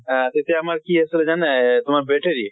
আহ তেতিয়া আমাৰ কি আছিলে জানে? এহ তোমাৰ battery